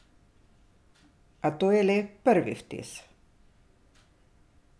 A to je le prvi vtis.